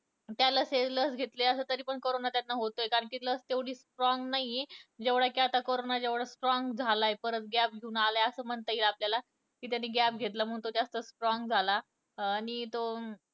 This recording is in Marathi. त्याला लस घेतली असेल तरी पण त्याला कारोंना होतोय कारण लस तेवढी strong नाही कि जेवढा आता कारोंना strong झाला आहे परत gap घेऊन आलायअसं म्हणता येईल आपल्याला कि त्याने गॅप घेतला म्हणून तो इतका strong झाला आणि तो